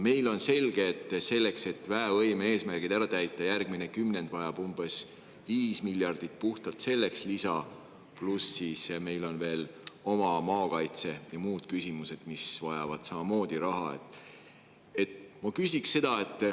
Meile on selge, et selleks, et väevõime eesmärgid ära täita, on järgmine kümnend vaja umbes 5 miljardit lisa puhtalt selleks, pluss on meil veel maakaitse‑ ja muud küsimused, mis vajavad samamoodi raha.